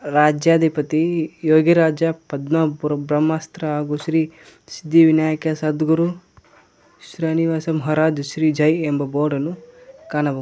ರಾಜಾಧಿಪತಿ ಯೋಗಿರಾಜ ಪದ್ಮಪುರ ಬ್ರಹ್ಮಾಸ್ತ್ರ ಹಾಗೂ ಶ್ರೀ ಸಿದ್ಧಿವಿನಾಯಕ ಸದ್ಗುರು ಶ್ರೀನಿವಾಸ ಮಹಾರಾಜ ಶ್ರೀ ಜೈ ಎಂಬ ಬೋರ್ಡ ಅನ್ನು ಕಾಣಬಹುದು.